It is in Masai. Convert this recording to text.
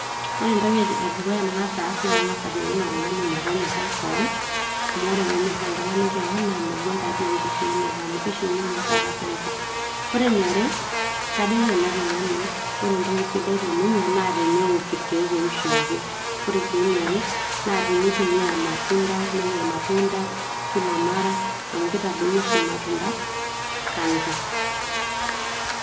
ore entoki edukuya nang'as aas naa kang'as ajoki ilo tung'ani metonyorrai kon amu ore penyorra oltung'ani kewan naa megol taa dii enkishiunoto amu kishiuni ninye oshi taata cancer, ore eniare kajoki ele tung'ani ore entoki sidai teninye naa tenewok irkeek oishooki ore sii eniare naa tinitumia irmatunda nenya irmatunda kila mara amu lkitadoyio oshi irmatunda cancer.